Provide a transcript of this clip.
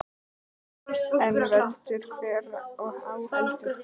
En veldur hver á heldur.